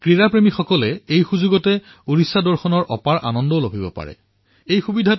ক্ৰীড়া প্ৰেমীসকলৰ বাবে উৰিষ্য দৰ্শনো এক সুন্দৰ সুযোগ হব